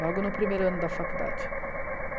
Logo no primeiro ano da faculdade.